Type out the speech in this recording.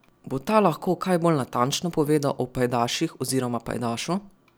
Bo ta lahko kaj bolj natančno povedal o pajdaših oziroma pajdašu?